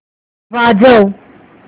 वाजव